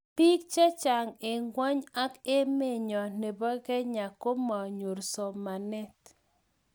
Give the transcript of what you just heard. biik chechang eng ingweny ak emenyo nebo Kenya komanyor somanet